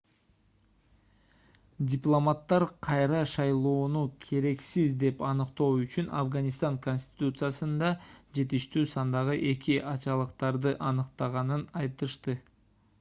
дипломаттар кайра шайлоону керексиз деп аныктоо үчүн афганистан конституциясында жетиштүү сандагы эки ачалыктарды аныктаганын айтышты